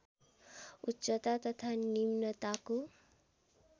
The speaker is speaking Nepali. उच्चता तथा निम्नताको